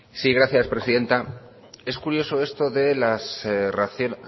sí gracias presidenta es curioso esto de